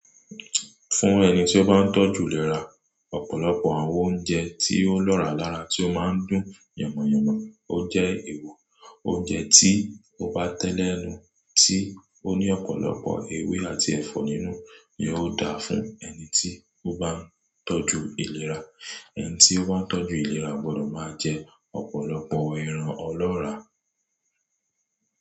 Fún ẹni tí ó bá ń tọ́jú ìlera, ọ̀pọ̀lọpọ̀ àwọn oúnjẹ tí ó lọ́ra lára tí ó máa ń dùn yànmọ̀yànmọ̀, ó jẹ́ èèwọ̀. Oúnjẹ tí ó bá tẹ́lẹ̀ ẹnu, tí ó ní ọ̀pọ̀lọpọ̀ ewé àti ẹ̀fọ́ nínú ni ó da fún ẹni tí ó bá ń tọ́jú ìlera. Ẹni tí ó bá ń tọ́jú ìlera gbọdọ̀ máa jẹ ọ̀pọ̀lọpọ̀ ẹran ọlọ́ra.